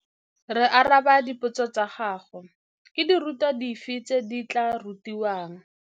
Re araba dipotso tsa gago. Ke dirutwa dife tse di tla rutiwang?